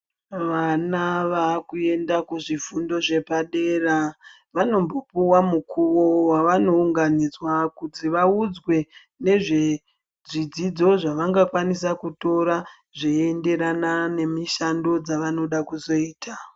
Vana vaakuenda kuzvifundo zvepadera, vanombopuwa mukuwo wavanounganidzwa kuti vaudzwe, nezvezvidzidzo zvavangakwanisa kutora ,zveienderana nemishando dzavanoda kuzoita.